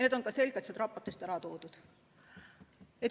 Need on ka selgelt seal raportis ära toodud.